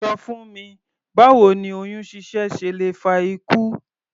Ṣọ fún mi báwo ni oyún ṣíṣẹ́ ṣe lè fa ikú?